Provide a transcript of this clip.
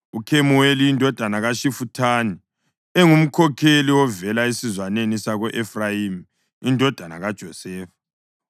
uKhemuweli indodana kaShifuthani, engumkhokheli ovela esizwaneni sako-Efrayimi indodana kaJosefa;